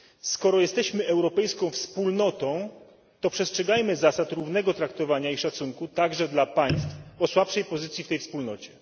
Skoro jesteśmy europejską wspólnotą, to przestrzegajmy zasad równego traktowania i szacunku także dla państw o słabszej pozycji w tej wspólnocie.